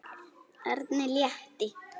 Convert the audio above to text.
Erni létti.